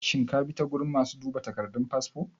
shin kabi ta gurin masu duba takardun fasfo?